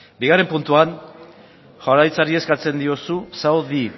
bigarren puntuan jaurlaritzari eskatzen diozu saudi